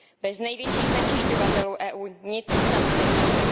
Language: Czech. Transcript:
Bez největších znečišťovatelů EU nic sama nezmůže.